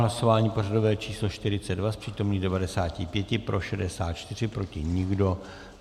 Hlasování pořadové číslo 42, z přítomných 95 pro 64, proti nikdo.